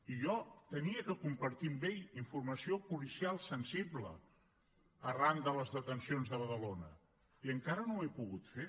i jo havia de compartir amb ell informació policial sensible arran de les detencions de badalona i encara no ho he pogut fer